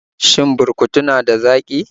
Shin burkutu na da zaƙi?